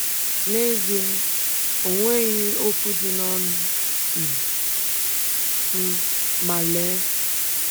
N’ezie, ọ nweghị okwu dị n’ọnụ um m, ma lee!